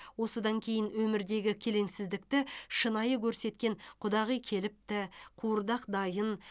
осыдан кейін өмірдегі келеңсіздікті шынайы көрсеткен құдағи келіпті қуырдақ дайын